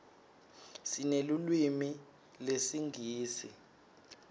sinelulwimi lesingisi